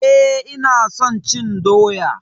Eh ina son cin doya.